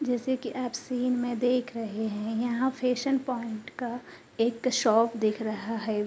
जैसे कि आप सीन में देख रहे हैं यहाँ फैशन पॉइंट का एक शॉप दिख रहा है।